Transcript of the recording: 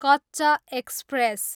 Kutch express